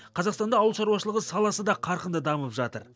қазақстанда ауыл шаруашылығы саласы да қарқынды дамып жатыр